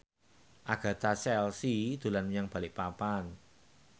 Agatha Chelsea dolan menyang Balikpapan